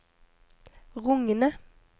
rungende